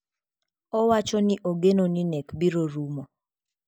Owacho ni ogeno ni nek biro rumo.